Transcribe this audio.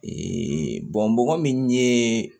bɔgɔ min ye